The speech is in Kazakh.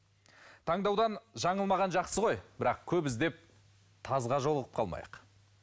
таңдаудан жаңылмаған жақсы ғой бірақ көп іздеп тазға жолығып қалмайық